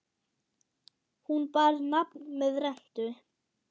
Hún bar nafn með rentu.